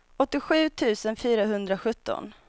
åttiosju tusen fyrahundrasjutton